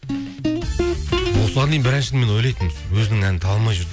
осыған дейін бір әншіні мен ойлайтынмын өзінің әнін таба алмай жүр